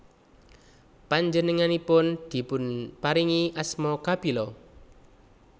Panjengenganipun dipunparingi asma Kapila